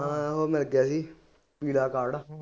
ਹਾਂ ਹੋਰ ਨਾ ਕਹਿ ਦੇਈ